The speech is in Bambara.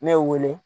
Ne ye wele